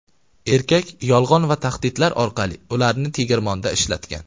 Erkak yolg‘on va tahdidlar orqali ularni tegirmonda ishlatgan.